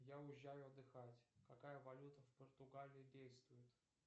я уезжаю отдыхать какая валюта в португалии действует